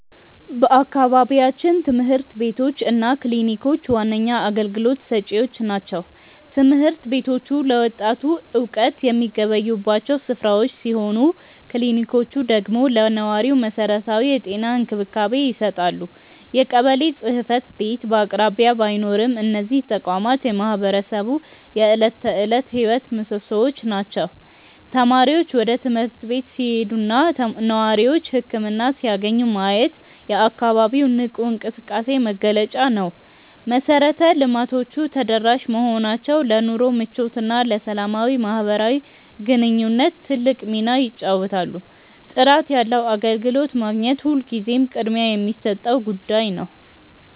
በአካባቢያችን ትምህርት ቤቶች እና ክሊኒኮች ዋነኛ አገልግሎት ሰጪዎች ናቸው። ትምህርት ቤቶቹ ለወጣቱ እውቀት የሚገበዩባቸው ስፍራዎች ሲሆኑ፣ ክሊኒኮቹ ደግሞ ለነዋሪው መሰረታዊ የጤና እንክብካቤ ይሰጣሉ። የቀበሌ ጽሕፈት ቤት በአቅራቢያ ባይኖርም፣ እነዚህ ተቋማት የማህበረሰቡ የዕለት ተዕለት ሕይወት ምሶሶዎች ናቸው። ተማሪዎች ወደ ትምህርት ቤት ሲሄዱና ነዋሪዎች ህክምና ሲያገኙ ማየት የአካባቢው ንቁ እንቅስቃሴ መገለጫ ነው። መሰረተ ልማቶቹ ተደራሽ መሆናቸው ለኑሮ ምቾትና ለሰላማዊ ማህበራዊ ግንኙነት ትልቅ ሚና ይጫወታሉ። ጥራት ያለው አገልግሎት ማግኘት ሁልጊዜም ቅድሚያ የሚሰጠው ጉዳይ ነው።